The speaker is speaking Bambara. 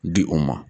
Di o ma